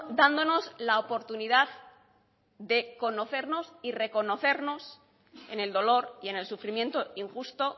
dándonos la oportunidad de conocernos y reconocernos en el dolor y en el sufrimiento injusto